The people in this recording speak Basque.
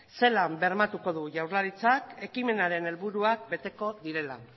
zelan bermatuko du jaurlaritzak ekimenaren helburuak beteko direla